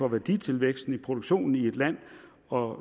af værditilvæksten i produktionen i et land og